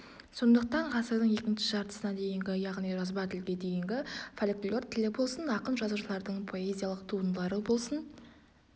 сондықтан ғасырдың екінші жартысына дейінгі яғни жазба тілге дейінгі фольклор тілі болсын ақын-жазушылардың поэзиялық туындылары болсын